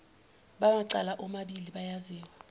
bamacala omabili bayabizwa